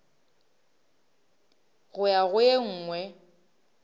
go ya go e nngwe